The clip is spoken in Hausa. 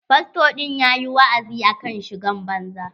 Fasto ɗin ya ƴi wa'azi akan shigar banza.